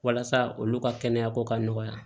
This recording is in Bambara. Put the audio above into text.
Walasa olu ka kɛnɛya ko ka nɔgɔya